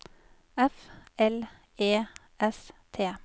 F L E S T